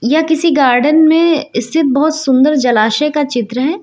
यह किसी गार्डन में स्थित बहुत सुंदर जलाशय का चित्र है।